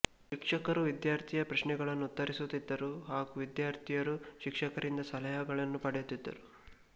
ಶಿಕ್ಷಕರು ವಿಧ್ಯಾರ್ಥಿಯ ಪ್ರಶ್ನೆಗಳನ್ನು ಉತ್ತರಿಸುತ್ತಿದ್ದರು ಹಾಗು ವಿಧ್ಯಾರ್ಥಿಯರು ಶಿಕ್ಷಕರಿಂದ ಸಲಹೆಗಳನ್ನು ಪಡೆಯುತ್ತಿದ್ದರು